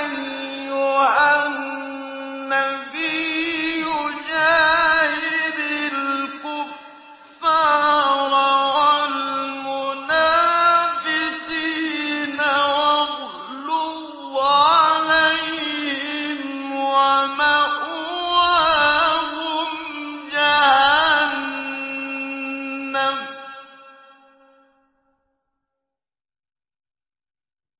أَيُّهَا النَّبِيُّ جَاهِدِ الْكُفَّارَ وَالْمُنَافِقِينَ وَاغْلُظْ عَلَيْهِمْ ۚ